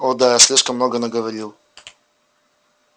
о да я слишком много наговорил